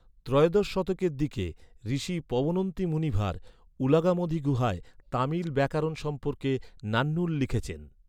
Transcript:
ত্রয়োদশ শতকের দিকে, ঋষি পবনন্তি মুনিভার, উলাগামধি গুহায়, তামিল ব্যাকরণ সম্পর্কে ‘নান্নুল’ লিখেছেন।